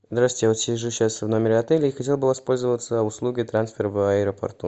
здравствуйте я вот сижу сейчас в номере отеля и хотел бы воспользоваться услугой трансфер в аэропорту